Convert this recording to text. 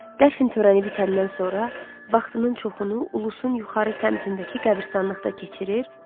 Dəfn törəni bitəndən sonra vaxtının çoxunu Ulusun yuxarı səmtindəki qəbiristanlıqda keçirir.